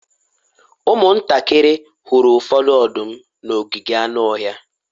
ụmụntakịrị hụrụ ụfọdụ ọdụm n'ogige anụ ọhịa